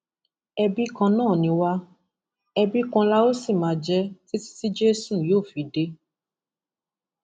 ẹbi kan náà ni wá ẹbí kan la ó sì máa jẹ títí tí jésù yóò fi dé